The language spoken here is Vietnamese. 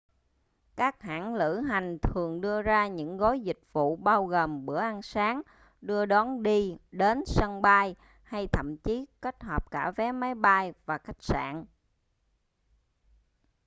các hãng lữ hành thường đưa ra những gói dịch vụ bao gồm bữa ăn sáng đưa đón đi/đến sân bay hay thậm chí kết hợp cả vé máy bay và khách sạn